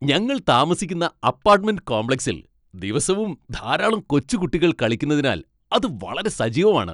ഞങ്ങൾ താമസിക്കുന്ന അപ്പാട്ട്മെന്റ് കോംപ്ലക്സിൽ ദിവസവും ധാരാളം കൊച്ചുകുട്ടികൾ കളിക്കുന്നതിനാൽ അത് വളരെ സജീവമാണ്.